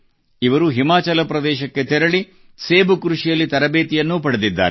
ಇವರು ಹಿಮಾಚಲ ಪ್ರದೇಶಕ್ಕೆ ತೆರಳಿ ಸೇಬು ಕೃಷಿಯಲ್ಲಿ ತರಬೇತಿಯನ್ನೂ ಪಡೆದಿದ್ದಾರೆ